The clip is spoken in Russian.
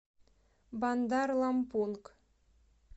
бандар лампунг